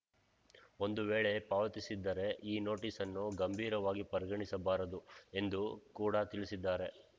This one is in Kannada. ಒಂದು ವೇಳೆ ಪಾವತಿಸಿದ್ದರೆ ಈ ನೋಟಿಸ್‌ಅನ್ನು ಗಂಭೀರವಾಗಿ ಪರಿಗಣಿಸಬಾರದು ಎಂದು ಕೂಡ ತಿಳಿಸಿದ್ದಾರೆ